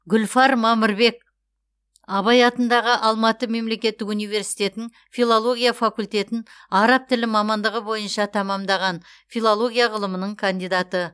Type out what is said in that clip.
гүлфар мамырбек абай атындағы алматы мемлекеттік университетінің филология факультетін араб тілі мамандығы бойынша тәмамдаған филология ғылымының кандидаты